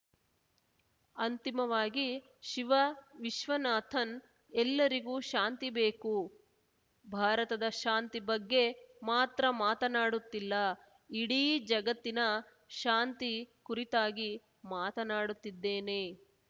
ಅಂತಿಮವಾಗಿ ಶಿವ ವಿಶ್ವನಾಥನ್‌ ಎಲ್ಲರಿಗೂ ಶಾಂತಿ ಬೇಕು ಭಾರತದ ಶಾಂತಿ ಬಗ್ಗೆ ಮಾತ್ರ ಮಾತನಾಡುತ್ತಿಲ್ಲ ಇಡೀ ಜಗತ್ತಿನ ಶಾಂತಿ ಕುರಿತಾಗಿ ಮಾತನಾಡುತ್ತಿದ್ದೇನೆ